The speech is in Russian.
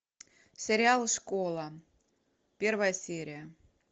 сериал школа первая серия